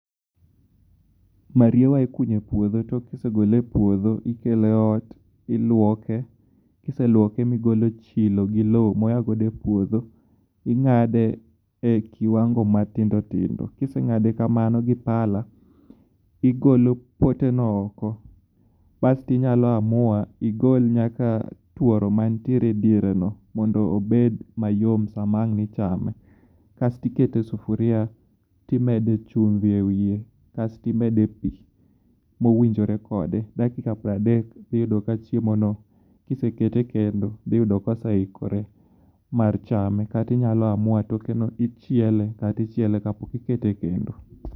Mriewa ikunyo e puodho to kisegole e puodho ikele ot miluoke. Kiseluoke migolo chilo gi lo moagodo e puodho ing'ade e kiwango matindo tindo. Kiseng'age kamano gi pala igolo pote no oko basti inyalo amua igol nyaka tuoro mantiere e diere no mondo obed mayom sa ma ang' ichame. Kastikete sufuria kasti timede chumbi e wiye kastimede pi mowinjore kode. Dakika piero adek (30) tiyudo ka chiemo no kisekete e kendo dhiyudo ka oseikore mar chame. Kata inyalo amua toke no ichiele kata ichiele ka pok ikete e kendo.